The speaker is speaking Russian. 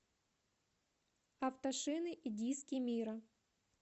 автошины и диски мира